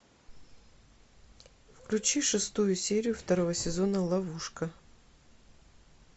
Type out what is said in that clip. включи шестую серию второго сезона ловушка